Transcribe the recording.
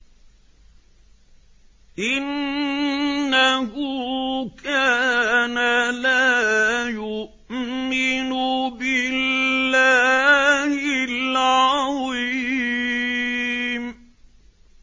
إِنَّهُ كَانَ لَا يُؤْمِنُ بِاللَّهِ الْعَظِيمِ